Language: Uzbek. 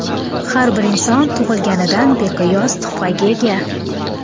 Har bir inson tug‘ilganidan beqiyos tuhfaga ega.